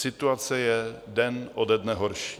Situace je den ode dne horší.